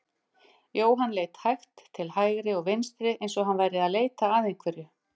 Jóhann leit hægt til hægri og vinstri eins og hann væri að leita að einhverju.